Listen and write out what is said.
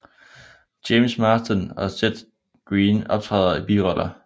James Marsden og Seth Green optræder i biroller